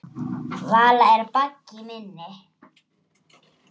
Vala er baggi minni.